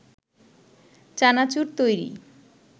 চানাচুর তৈরি